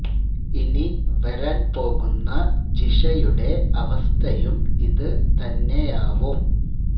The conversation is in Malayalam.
ഇനി വരാന് പോകുന്ന ജിഷ യുടെ അവസ്ഥയും ഇത് തന്നെയാവും